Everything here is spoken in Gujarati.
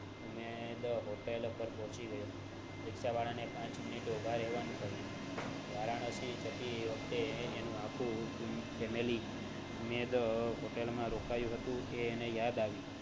અને the hotel પર પોહચી ગયો રીક્ષા વાળા ને પાંચ મિનિટે ઉભા રહેવાનું કહીંયુ વારાણસી જતી વખતે એનું આખું family the hotel માં રોકાયું હતું એ એને યાદ આવ્યું